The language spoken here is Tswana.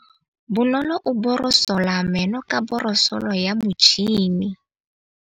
Bonolô o borosola meno ka borosolo ya motšhine.